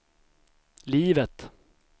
livet